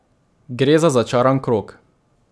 Gre za začaran krog.